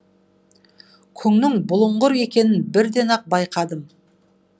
күннің бұлыңғыр екенін бірден ақ байқадым